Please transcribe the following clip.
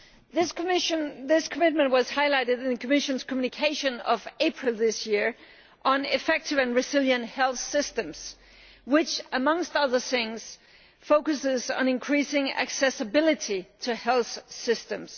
This commitment was highlighted in the Commission's communication of April this year on effective and resilient health systems, which, among other things, focused on increasing accessibility to health systems.